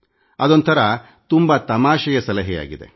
ಒಂದು ರೀತಿಯಲ್ಲಿ ಅದು ತುಂಬಾ ತಮಾಷೆಯಾಗಿದೆ